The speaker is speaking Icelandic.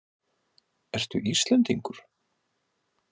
Ertu Íslendingur?